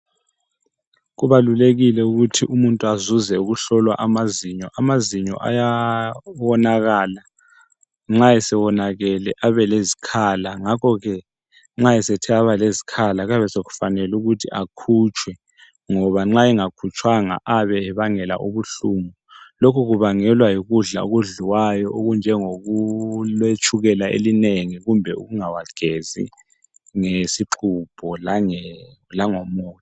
Kubalulekile ukuthi umuntu azuze ukuhlolwa amazinyo. Amazinyo ayawonakala, nxa esewonakele abelezikhala ngakho ke nxa esethe abalezikhala kuyabe sokufanele ukuthi akhutshwe ngoba nxa engakhutshwanga ayabe ebangela ubuhlungu. Lokhu kubangelwa yikudla okudliwayo okunjengoku letshukela elinengi kumbe ukungawagezi ngesixhubho lange langomu.